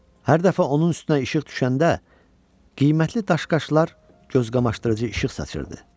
Hər dəfə onun üstünə işıq düşəndə qiymətli daşqaşlar gözqamaşdırıcı işıq saçırdı.